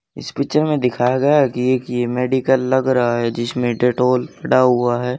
इस पिक्चर में दिखाया गया है कि एक ये मेडिकल लग रहा है जिसमें डेटॉल हुआ है।